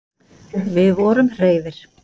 Við vorum hreifir.